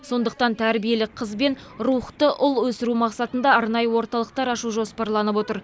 сондықтан тәрбиелі қыз бен рухты ұл өсіру мақсатында арнайы орталықтар ашу жоспарланып отыр